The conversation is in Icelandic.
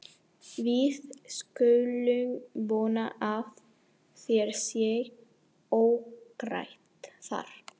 Við skulum vona að þér sé óhætt þar.